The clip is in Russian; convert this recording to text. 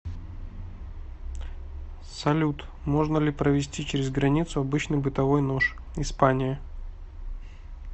салют можно ли провезти через границу обычный бытовой нож испания